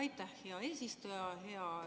Aitäh, hea eesistuja!